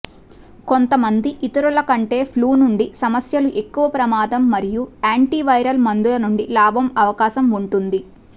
కొంతమంది ఇతరులు కంటే ఫ్లూ నుండి సమస్యలు ఎక్కువ ప్రమాదం మరియు యాంటీవైరల్ మందులు నుండి లాభం అవకాశం ఉంటుంది